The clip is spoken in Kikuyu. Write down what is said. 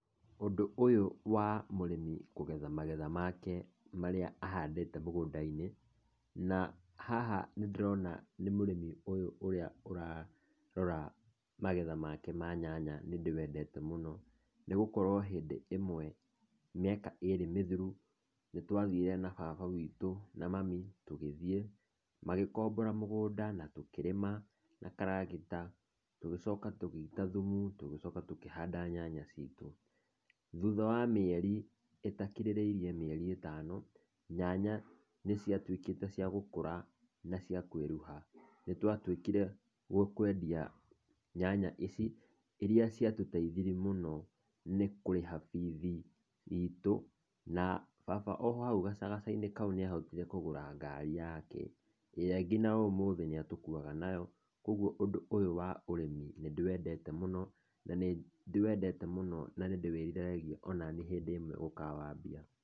Ũndũ ũyũ wa mũrĩmi kũgetha magetha make marĩa ahandĩte mũgũndainĩ, na haha nĩndĩrona nĩ mũrimi ũyũ ũrĩa ararora magetha make ma nyanya nĩndĩwendete mũno, nĩgũkorwo hĩndĩ ĩmwe mĩaka ĩrĩ mĩthiru, nĩtwathire na baba witũ na mami tũgĩthiĩ magĩkombora mũgũnda na tũkĩrĩma na karagita, tũgĩcoka tũgĩita thumu, tũgĩcoka tũkĩhanda nyanya citũ, thutha wa mĩeri itakirĩrĩe mĩeri itano nyanya nĩciatuĩkĩte cia gũkũra na cia kwĩruha, nĩtwatwikire wakwendia nyanya ici, irĩa ciatuteithirie mũno nĩ kũrĩha bithi itũ na baba ohau agacaainĩ kaũ nĩahotire kũgũra ngari yake, ĩrĩa nginya ũmũthĩ atũkuaga nayo, kwoguo ũndũ ũyũ wa ũrĩmĩ nĩndĩwendete mũno na nĩndĩwĩrĩragĩrĩa onani hĩndĩ ĩmwe gũkawaambia.